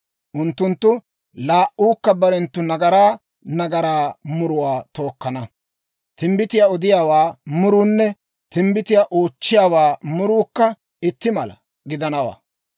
Unttunttu laa"uukka barenttu nagaraa nagaraa muruwaa tookkana; timbbitiyaa odiyaawaa muruunne timbbitiyaa oochchiyaawaa muruukka itti mala gidanawaa.